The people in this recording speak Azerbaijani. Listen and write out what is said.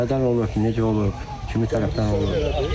Nədən olub, necə olub, kimi tərəfdən olub?